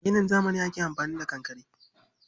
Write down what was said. A ginin zamani ake amfani da kankare.